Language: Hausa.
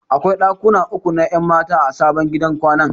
Akwai ɗakuna uku na 'yan mata a sabon gidan kwanan.